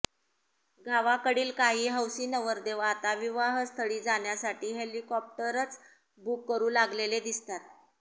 गावाकडील काही हौसी नवरदेव आता विवाहस्थळी जाण्यासाठी हेलिकॉप्टरच बूक करू लागलेले दिसतात